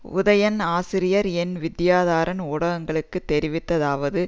உதயன் ஆசிரியர் என் வித்தியாதரன் ஊடகங்களுக்கு தெரிவித்ததாவது